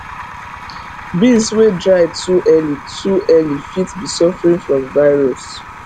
beans dey dry too early too early fit be suffering from virus